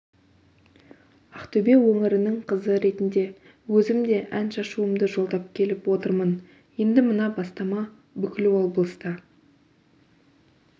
ақтөбе өңірінің қызы ретінде өзім де ән шашуымды жолдап келіп отырмын енді мына бастама бүкіл облыста